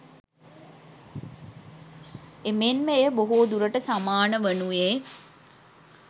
එමෙන්ම එය බොහෝ දුරට සමාන වනුයේ